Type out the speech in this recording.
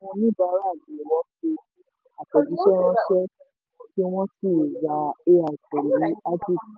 àwọn oníbàárà l àtẹ̀jísẹ́ ránṣẹ́ kí wọ́n sì ra ai pẹ̀lú agix.